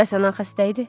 Bəs anan xəstə idi?